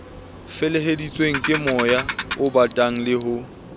feleheditsweng kemoya obatang le ho